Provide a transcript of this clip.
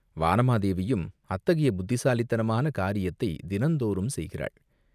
வானமாதேவியும் அத்தகைய புத்திசாலித்தனமான காரியத்தைத் தினந்தோறும் செய்கிறாள்!